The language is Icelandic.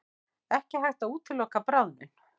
Ekki hægt að útiloka bráðnun